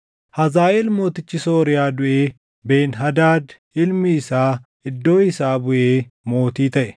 Hazaaʼeel mootichi Sooriyaa duʼee Ben-Hadaad ilmi isaa iddoo isaa buʼee mootii taʼe.